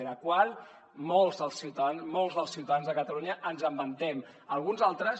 de la qual molts dels ciutadans de catalunya ens en vantem alguns altres